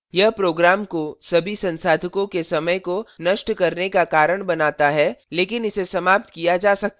यह program को सभी संसाधको के समय को नष्ट करने का कारण बनाता है लेकिन इसे समाप्त किया जा सकता है